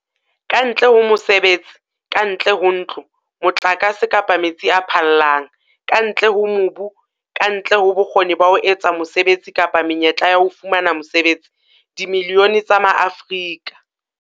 Kantle ho mosebetsi, kantle ho ntlo, motlakase kapa metsi a phallang, kantle ho mobu, kantle ho bokgoni ba ho etsa mosebetsi kapa menyetla ya ho fumana mosebetsi, dimilione tsa Maafrika.